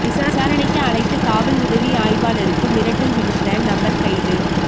விசாரணைக்கு அழைத்த காவல் உதவி ஆய்வாளருக்கு மிரட்டல் விடுத்த நபா் கைது